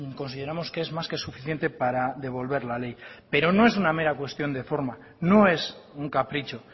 consideramos que es más que suficiente para devolver la ley pero no es una mera cuestión de forma no es un capricho